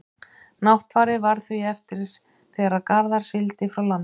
náttfari varð því eftir þegar garðar sigldi frá landinu